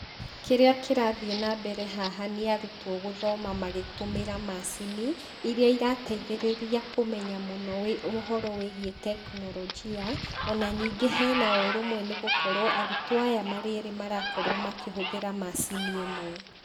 Kĩrĩa kĩrathiĩ na mbere haha nĩarutwo gũthoma magĩtũmĩra macini, iria irateithĩrĩria kũmenya mũno ũhoro wĩgiĩ tekinoronjia, o na ningĩ hena ũrũmwe nĩgũkorwo arutwo aya marĩ erĩ marakorwo makĩhũthĩra macini ĩmwe.